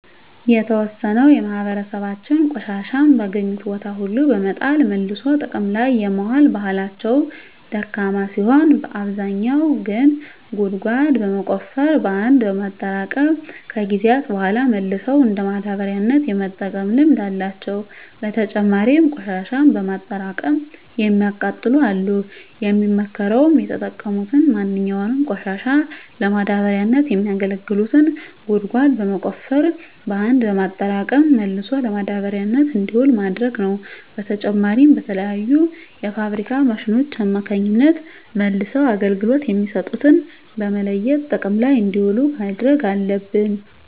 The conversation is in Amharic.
የተዎሰነው የማህበራሰባችን ቆሻሻን በአገኙት ቦታ ሁሉ በመጣል መልሶ ጥቅም ላይ የማዋል ባህላቸው ደካማ ሲሆን አብዛኛው ግን ጉድጓድ በመቆፈር በአንድ በማጠራቀም ከጊዜያት በሗላ መልሰው እንደ ማዳበሪያነት የመጠቀም ልምድ አላቸው። በተጨማሪም ቆሽሻን በማጠራቀም የሚያቃጥሉ አሉ። የሚመከረውም የተጠቀሙትን ማንኛውንም ቆሻሻ ለማዳበሪያነት የሚያገለግሉትን ጉድጓድ በመቆፈር በአንድ በማጠራቀም መልሶ ለማዳበሪያነት እንዲውል ማድረግ ነው። በተጨማሪም በተለያዩ የፋብሪካ ማሽኖች አማካኝነት መልሰው አገልግሎት የሚሰጡትን በመለየት ጥቅም ላይ እንዲውሉ ማድረግ አለብን።